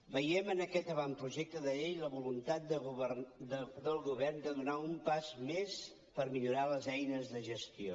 veiem en aquest avantprojecte de llei la voluntat del govern de donar un pas més per millorar les eines de gestió